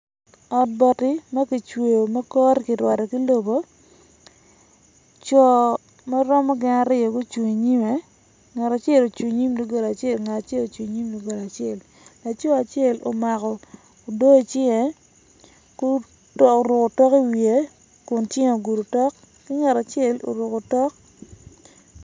Ot bati ma kicweyo ma kore kirwado ki lobo co ma romo gin aryo gucung inyimme ngat acel ocung inyim dogola acela ngat acel ocung inyim dogola acel laco acel omako odoo icinge oruko otok iwiye kun cinge ogudo otok ki ngat acel orukko otok.